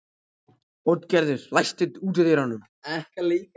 Oddgerður, læstu útidyrunum.